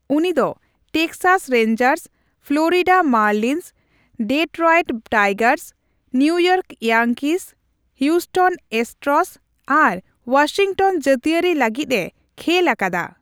ᱩᱱᱤ ᱫᱚ Texas Rangers, Florida Marlins, Detroit Tigers, New York Yankees, Houston Astros ᱟᱨ Washington ᱡᱟᱹᱛᱤᱭᱟᱨᱤ ᱞᱟᱹᱜᱤᱫ ᱮ ᱠᱷᱮᱞ ᱟᱠᱟᱫᱟ ᱾